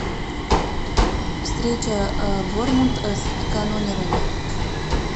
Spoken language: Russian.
встреча борнмут с канонирами